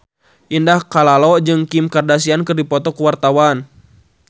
Indah Kalalo jeung Kim Kardashian keur dipoto ku wartawan